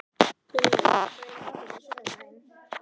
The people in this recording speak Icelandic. Gunnella, hvað er í matinn á sunnudaginn?